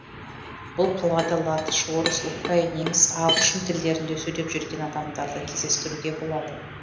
бұл қалада латыш орыс украин неміс ағылшын тілдерінде сөйлеп жүрген адамдарды кездестіруге болады